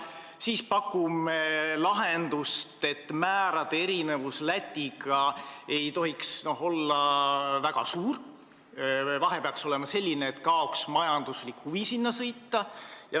Teiseks pakume lahendust, et määrade erinevus Läti määradest ei tohiks olla väga suur, vahe peaks olema selline, et kaoks majanduslik huvi sinna sõita.